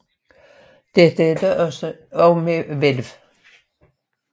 Dette er dog også med hvælv